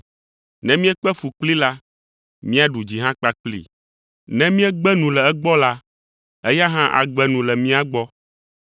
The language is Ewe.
Ne míekpe fu kplii la, míaɖu dzi hã kpakplii; Ne míegbe nu le egbɔ la, Eya hã agbe nu le mía gbɔ.